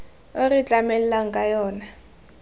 o re tlamelang ka yona